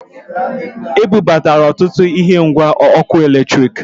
E bubatara ọtụtụ ihe ngwa ọkụ eletriki